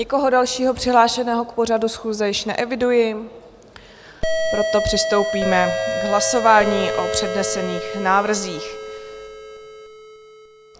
Nikoho dalšího přihlášeného k pořadu schůze již neeviduji, proto přistoupíme k hlasování o přednesených návrzích.